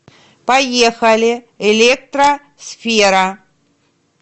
поехали электро сфера